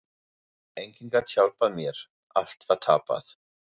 Enginn gat hjálpað mér, allt var tapað.